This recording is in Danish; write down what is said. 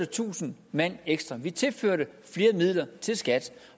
tusind mand ekstra vi tilførte flere midler til skat